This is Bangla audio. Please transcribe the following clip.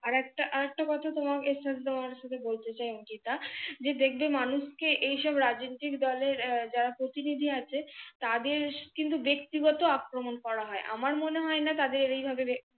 আরেকটা আরেকটা কথা তোমার এই চিন্তা ভাবনার সাথে বলতে চাই অংকিতা যে দেখবে মানুষ কে এই সব রাজনৈতিক দলের যারা প্রতিনিধি আছে তাদের কিন্তু ব্যাক্তিগত আক্রমন করা হয় আমার মনে হয়না তাদের এইভাবে